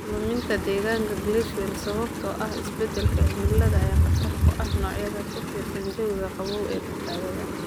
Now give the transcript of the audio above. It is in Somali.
Luminta deegaanka glacial sababtoo ah isbeddelka cimilada ayaa khatar ku ah noocyada ku tiirsan jawiga qabow ee badbaadada.